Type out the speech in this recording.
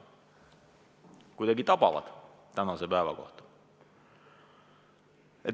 Kuidagi tabavad tänase päeva kohta.